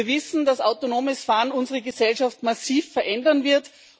Wir wissen, dass autonomes Fahren unsere Gesellschaft massiv verändern wird.